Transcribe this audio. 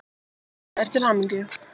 og óska þér til hamingju.